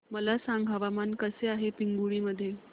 मला सांगा हवामान कसे आहे पिंगुळी मध्ये